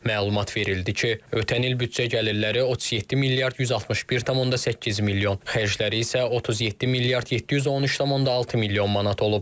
Məlumat verildi ki, ötən il büdcə gəlirləri 37 milyard 161,8 milyon, xərcləri isə 37 milyard 713,6 milyon manat olub.